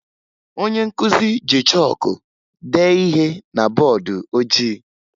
Onye nkụzi ji chọọkụ dee ihe na bọọdụ ojii